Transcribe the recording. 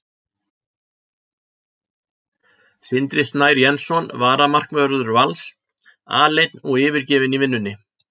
Sindri Snær Jensson varamarkvörður Vals: Aleinn og yfirgefinn í vinnunni.